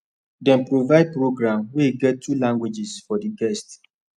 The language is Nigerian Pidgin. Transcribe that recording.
dem provide program wey get two languages for the guests